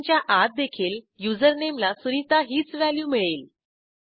फंक्शनच्या आत देखील युझरनेम ला सुनिता हीच व्हॅल्यू मिळेल